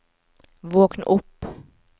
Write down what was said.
våkn opp